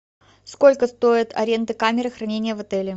сколько стоит аренда камеры хранения в отеле